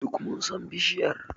Duk mun san bishiyar.